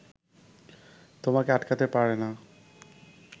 তোমাকে আটকাতে পারে না